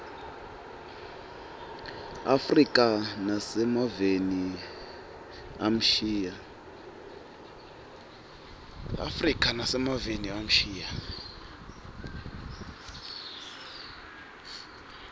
afrika nasemaveni amshiya